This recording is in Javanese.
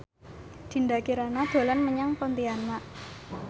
Dinda Kirana dolan menyang Pontianak